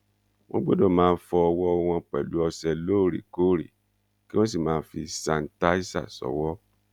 wọn gbọdọ máa fọ ọwọ wọn pẹlú ọsẹ lóòrèkóòrè kí wọn sì máa fi ṣàǹtàìsà ṣòwò